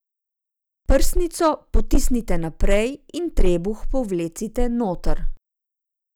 Prsnico potisnite naprej in trebuh povlecite noter.